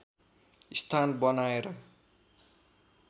स्थान बनाए र